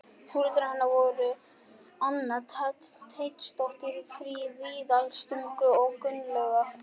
Foreldrar hennar voru þau Anna Teitsdóttir frá Víðidalstungu og Gunnlaugur